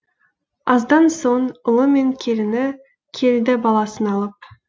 аздан соң ұлымен келіні келді баласын алып